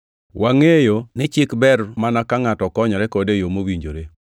Wangʼeyo ni chik ber mana ka ngʼato konyore kode e yo mowinjore.